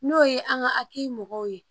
N'o ye an ka hakɛ mɔgɔ ye